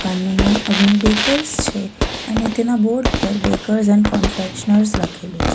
આનું નામ અગ્નિ બેકર્સ છે અને તેના બોર્ડ પર બેકર્સ એન્ડ કોન્ફેક્શનર્સ લખેલું છે.